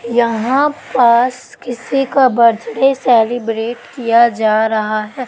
यहां पास किसी का बर्थडे सेलिब्रेट किया जा रहा है।